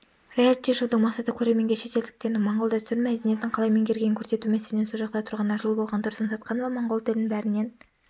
реалити-шоудың мақсаты көрерменге шетелдіктердің моңғол дәстүрін мәдиниетін қалай меңгергенін көрсету мәселен сол жақта тұрғанына жыл болған тұрсын сатқанова моңғол тілін бәрінен